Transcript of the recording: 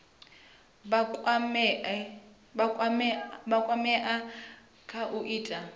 vha kwamea kha u ita